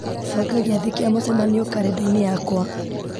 banga gĩathĩ kĩa mũcemanio karenda-inĩ yakwa